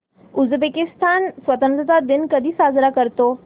Uzbekistan स्वतंत्रता दिन कधी साजरा करतो